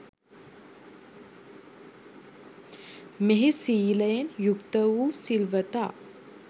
මෙහි සීලයෙන් යුක්ත වූ සිල්වතා